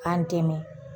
K'an dɛmɛ